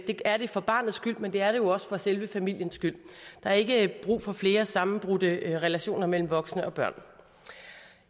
det er det for barnets skyld men det er det jo også for selve familiens skyld der er ikke brug for flere sammenbrudte relationer mellem voksne og børn